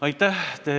Aitäh!